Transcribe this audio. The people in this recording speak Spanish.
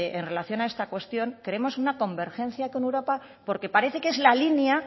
en relación a esta cuestión queremos una convergencia con europa porque parece que es la línea